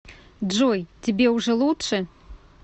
джой тебе уже лучше